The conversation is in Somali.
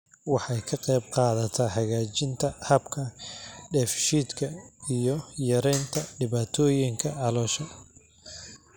Waxay ka qaybqaadataa hagaajinta habka dheef-shiidka iyo yaraynta dhibaatooyinka caloosha.